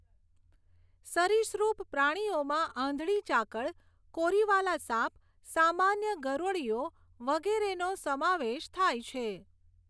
સરિસૃપ પ્રાણીઓમાં આંધળી ચાકળ, કોરીવાલા સાપ, સામાન્ય ગરોળીઓ વગેરેનો સમાવેશ થાય છે.